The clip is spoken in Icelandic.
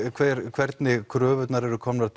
hvernig kröfurnar eru komnar